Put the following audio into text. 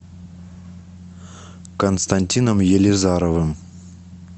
константином елизаровым